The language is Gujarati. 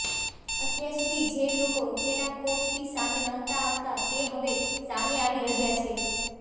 અત્યાર સુધી જે લોકો તેના ખૌફથી સામે નહોતા આવતા તે હવે સામે આવી રહ્યા છે